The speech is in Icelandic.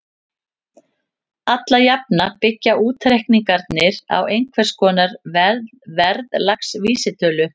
Alla jafna byggja útreikningarnir á einhvers konar verðlagsvísitölu.